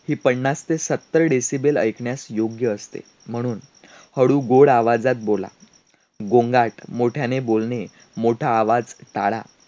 ही पन्नास ते सत्तर Decibel ऐकण्यास योग्य असते. म्हणून हळू, गोड आवाजात बोला. गोंगाट, मोठ्याने बोलणे, मोठा आवाज काढा.